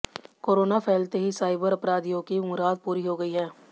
corona फैलते ही cyber अपराधियों की मुराद पूरी हो गई है